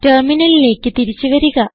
ടെർമിനലിലേക്ക് തിരിച്ച് വരിക